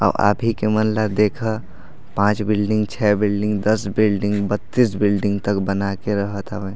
आ आप ही के मोहला देखा पांच बिल्डिंग छे बिल्डिंग दस बिल्डिंग बतीश बिल्डिंग तक बना के रहत हवे।